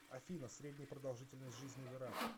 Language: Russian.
афина средняя продолжительность жизни в ирак